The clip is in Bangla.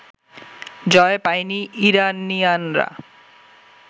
জয় পায়নি ইরানিয়ানরা